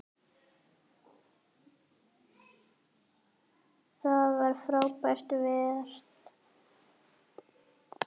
Það var frábær ferð.